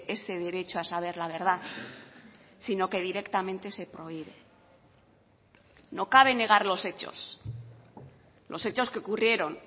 ese derecho a saber la verdad sino que directamente se prohíbe no cabe negar los hechos los hechos que ocurrieron